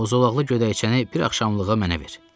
o zolaqlı gödəkcəni bir axşamlığa mənə ver.